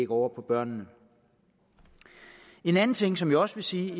over på børnene en anden ting som jeg også vil sige